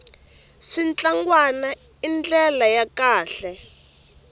switlangwana i ndlala ya kahle